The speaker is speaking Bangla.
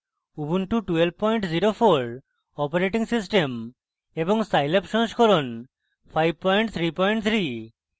উবুন্টু 1204 অপারেটিং সিস্টেম এবং scilab সংস্করণ 533